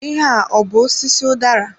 Ihe a ọ bụ osisi udara?